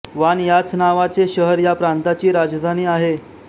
वान ह्याच नावाचे शहर ह्या प्रांताची राजधानी आहे